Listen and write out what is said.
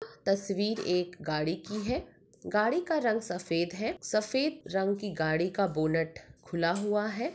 तस्वीर एक गाड़ी की है गाड़ी का रंग सफ़ेद है सफ़ेद रंग की गाड़ी का बोनट खुला हुआ है।